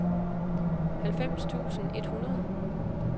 halvfems tusind et hundrede